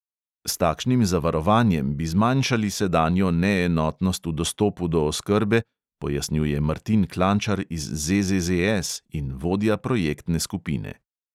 S takšnim zavarovanjem bi zmanjšali sedanjo neenotnost v dostopu do oskrbe, pojasnjuje martin klančar iz ZZZS in vodja projektne skupine.